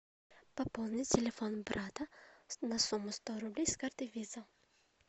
пополнить телефон брата на сумму сто рублей с карты виза